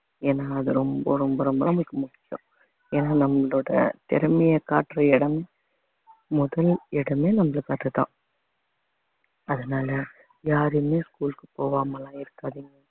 ஏன்னா அது ரொம்ப ரொம்ப ரொம்ப ரொம்ப நமக்கு முக்கியம் ஏன்னா நம்மளோட திறமைய காட்டுற இடம் முதல் இடமே நம்மளுக்கு அதுதான் அதனால யாருமே school க்கு போகாம எல்லாம் இருக்காதீங்க